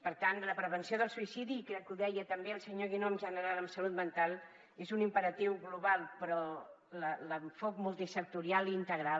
per tant la prevenció del suïcidi i crec que ho deia també el senyor guinó en general en salut mental és un imperatiu global però l’enfocament multisectorial i integral